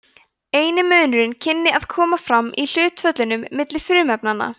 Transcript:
eini munurinn kynni að koma fram í hlutföllunum milli frumefnanna